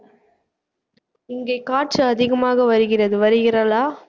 இங்கே காற்று அதிகமாக வருகிறது வருகிறாளா